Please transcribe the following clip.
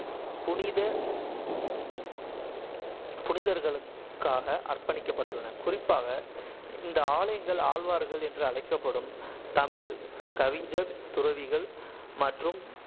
புனித புனிதர்களுக்காக அர்ப்பணிக்கப்பட்டுள்ளன. குறிப்பாக, இந்த ஆலயங்கள் ஆழ்வார்கள் என்று அழைக்கப்படும் தமிழ் கவிஞர் துறவிகள் மற்றும்